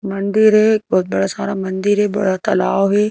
मंदिर है एक बहुत बड़ा सारा मंदिर है बड़ा तालाब है।